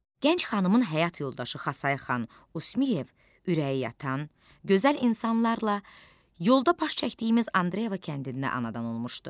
Gənc xanımın həyat yoldaşı Xasay xan Usmuyev ürəyi yatan, gözəl insanlarla yolda baş çəkdiyimiz Andreyeva kəndindən anadan olmuşdu.